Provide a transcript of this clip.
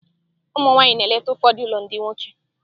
Ụmụ nwanyị na-eleta ụfọdụ ụlọ ndị nwoke.